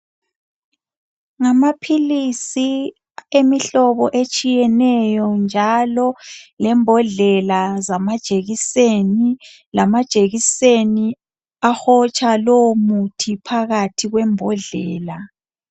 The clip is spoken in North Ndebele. Ngamaphilisi emihlobo etshiyeneyo njalo lembodlela zanjekiseni lamajekiseni ahotsha lowo muthi phakathi kwembodlela